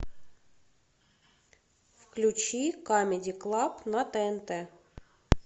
включи камеди клаб на тнт